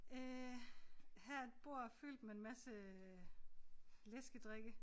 Øh her er et bord fyldt med en masse øh læskedrikke